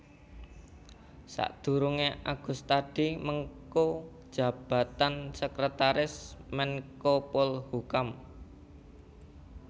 Sadurungé Agustadi mengku jabatan Sekretaris Menkopolhukam